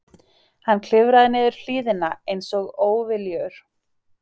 Hann klifraði niður hlíðina einsog óviljugur.